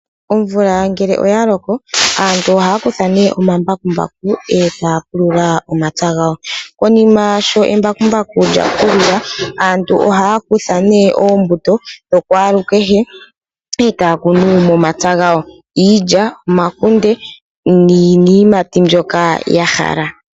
Omvula ngele oya loko aantu ohaya kutha nee omambakumbaku ee taya pulula omapya gawo konima nee omambakumbaku gapulula aantu ohaya kutha nee oombuto dhokwalukehe ee taya kunu momapya gawo. Iilya, omakunde niiyimati mbyoka ya hala.